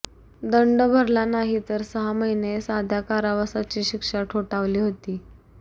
दंड भरला नाहीतर सहा महिने साध्या कारावासाची शिक्षा ठोठावली होती